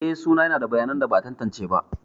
Eh, suna yada bayanan da ba a tantance ba.